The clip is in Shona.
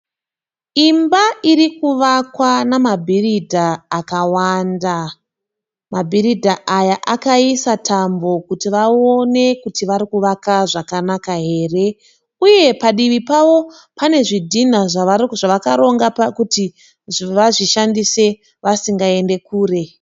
Imba irikuvakwa namabhiridha akawanda. Mabhiridha aya akaisa tambo kuti vaone kuti varikuvaka zvakanaka here uye padivi pavo pane zvidhinha zvakaronga kuti vazvishandise vasingaende kure.